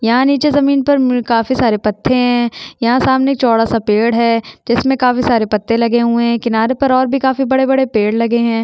यहाँ निचे जमीन पर काफी सारे पत्ते है यहाँ सामने चौड़ा सा पेड़ है जिसमे सारे पत्ते लगे हुए है किनारे में बड़े-बड़े पेड़ लगे हुए है।